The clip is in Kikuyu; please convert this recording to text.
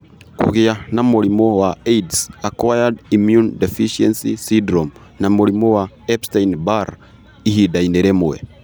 Kũgĩa na mũrimũ wa AIDS(acquired immune deficiency syndrome) na mũrimũ wa Epstein Barr Ihinda-inĩ rĩmwe.